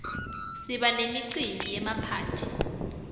siba nemicimbi yemaphathi